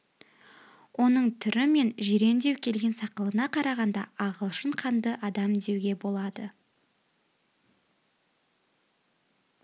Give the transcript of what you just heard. оның түрі мен жирендеу келген сақалына қарағанда ағылшын қанды адам деуге болады